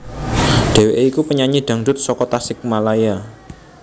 Dheweké iku penyanyi dangdut saka Tasikmalaya